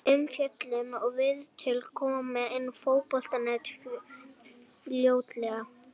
Umfjöllun og viðtöl koma inn á Fótbolti.net fljótlega.